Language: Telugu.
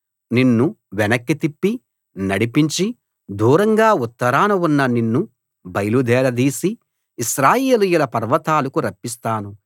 నిన్ను వెనక్కి తిప్పి నడిపించి దూరంగా ఉత్తరాన ఉన్న నిన్ను బయలుదేరదీసి ఇశ్రాయేలీయుల పర్వతాలకు రప్పిస్తాను